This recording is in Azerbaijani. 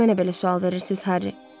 Niyə mənə belə sual verirsiz, Harry?